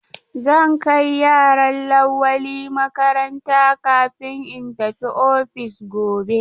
Zan kai yaran Lawali makaranta kafin in tafi ofis gobe.